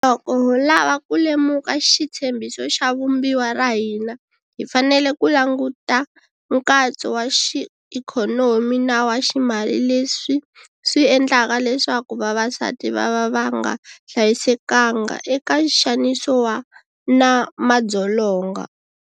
Loko ho lava ku lemuka xitshembiso xa Vumbiwa ra hina hi fanele ku languta nkatso wa xiikhonomi na wa ximali leswi swi endlaka leswaku vavasati va va va nga hlayisekanga eka nxaniso na madzolonga.